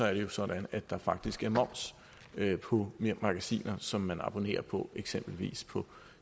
er det jo sådan at der faktisk er moms på magasiner som man abonnerer på eksempelvis på